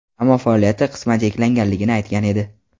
ammo faoliyati qisman cheklanganligini aytgan edi.